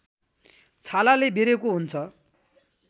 छालाले बेरेको हुन्छ